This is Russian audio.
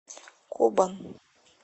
кобан